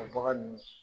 O bagan ninnu